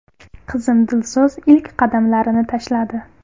Qizim Dilso‘z ilk qadamlarini tashladi.